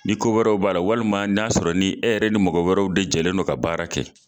Ni ko wɛrɛw b'a la ,walima na y'a sɔrɔ ni e yɛrɛ ni mɔgɔ wɛrɛw de jɛlen don ka baara kɛ.